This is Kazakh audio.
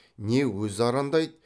не өзі арандайды